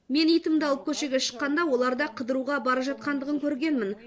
мен итімді алып көшеге шыққанда олар да қыдыруға бара жатқандығын көргенмін